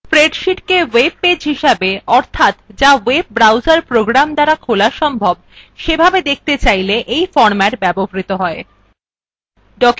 spreadsheetকে web page হিসাবে অর্থাৎ যা web browser program দ্বারা খোলা সম্ভব সেভাবে দেখাতে চাইলে এই ফরম্যাট ব্যবহৃত হয়